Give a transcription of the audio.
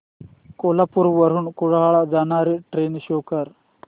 कोल्हापूर वरून कुडाळ ला जाणारी ट्रेन शो कर